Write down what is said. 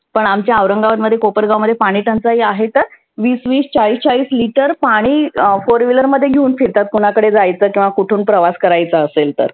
पण आमच्या औरंगाबाद मध्ये कोपरगाव मध्ये पाणि टंचाई आहे तर विस विस चाळीस चाळीस लिटर पाणि four wheeler मध्ये घेऊन फिरतात. कोणाकडे जायच किंवा कुठून प्रवास करायचा असेल तर.